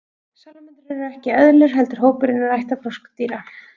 Salamöndrur eru ekki eðlur heldur hópur innan ættar froskdýra.